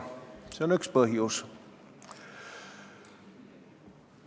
See on üks põhjusi.